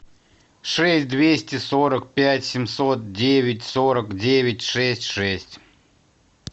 шесть двести сорок пять семьсот девять сорок девять шесть шесть